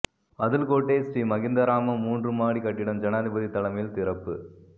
அதுல்கோட்டே ஸ்ரீ மஹிந்தாராம மூன்று மாடி கட்டிடம் ஜனாதிபதி தலைமையில் திறப்பு